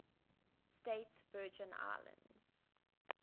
states virgin islands